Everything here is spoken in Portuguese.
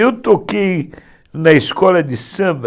Eu toquei na escola de samba